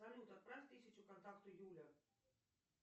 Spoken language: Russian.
салют отправь тысячу контакту юля